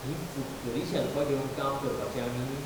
हीं फुटकरीं शेल्फां घेवन काम करपाचें आमी?